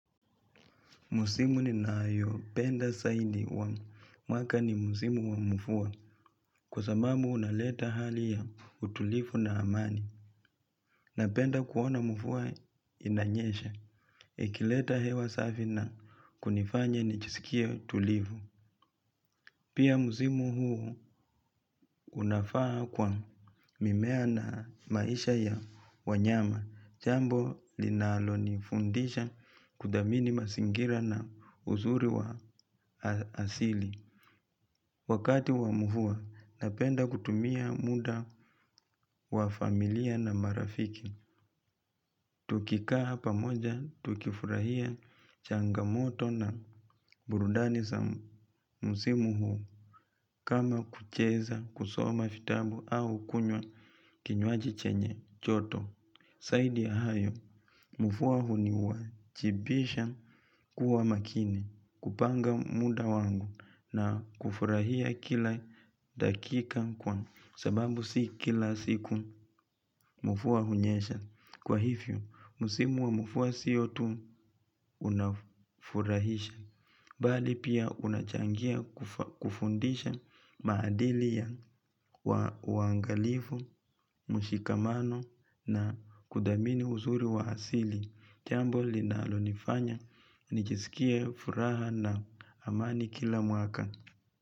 Musimu ninayo, penda zaidi wa mwaka ni msimu wa mvua, kwa sababu unaleta hali ya utulivu na amani. Napenda kuona mvua inanyesha, ikileta hewa safi na kunifanya nijisikie tulivu. Pia musimu huo unafaa kwa mimea na maisha ya wanyama, jambo linalonifundisha kuthamini mazingira na uzuri wa asili. Wakati wa mvua napenda kutumia muda wa familia na marafiki, tukikaa pamoja tukifurahia changamoto na burudani sa msimu huu kama kucheza kusoma vitabu au kunywa kinywaji chenye joto. Zaidi ya hayo, mvua huniwajibisha kuwa makini kupanga muda wangu na kufurahia kila dakika kwa sababu si kila siku mvua hunyesha. Kwa hivyo, musimu wa mvua sio tu unafurahisha. Bali pia unachangia kufundisha maadili ya uangalifu, mushikamano na kuthamini uzuri wa asili. Jambo linalo nifanya, nijisikie furaha na amani kila mwaka.